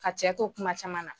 ka cɛ to kuma caman na